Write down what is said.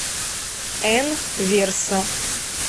н верса